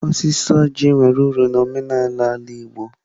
Osisi oji nwere uru n'omenala ala igbo.